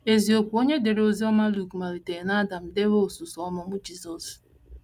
Eziokwu: Onye dere Oziọma Luk malitere n’Adam dewe osuso ọmụmụ Jizọs.